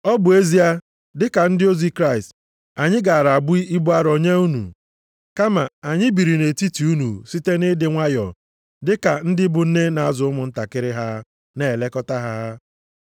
Ọ bụ ezie, dị ka ndị ozi Kraịst, anyị gara abụ ibu arụ nye unu. Kama, anyị biri nʼetiti unu site nʼịdị nwayọọ dị ka ndị bụ nne na-azụ ụmụntakịrị ha, na-elekọta ha.